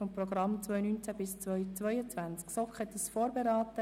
Wir führen eine freie Debatte.